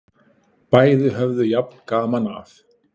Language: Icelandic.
Bæði höfðu jafn gaman af!